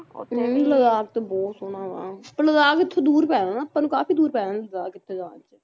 ਆਪਣੇ ਵੀ ਲੱਦਾਖ ਤਾਂ ਬਹੁਤ ਸੋਹਣਾ ਆ ਪਰ ਲੱਦਾਖ ਇਥੋਂ ਦੂਰ ਪੈ ਜਾਂਦਾ ਆਪਾਂ ਨੂੰ ਕਾਫੀ ਦੂਰ ਪੈ ਜਾਂਦਾ Ladakh